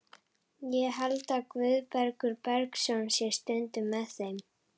Ég held að Guðbergur Bergsson sé stundum með þeim.